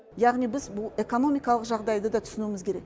яғни біз бұл экономикалық жағдайды да түсінуіміз керек